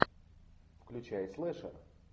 включай слэша